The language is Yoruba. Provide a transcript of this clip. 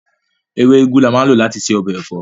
Ewé úgú ni a máa ń lò láti ṣe ọbẹ̀ ẹ̀fọ́